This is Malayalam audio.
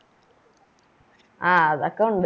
ആഹ് അതൊക്കെ ഒണ്ട്